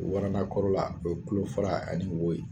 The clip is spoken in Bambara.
Waranda kɔrɔla, o ye tulo fara ani wo ye.